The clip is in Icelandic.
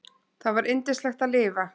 Það var yndislegt að lifa.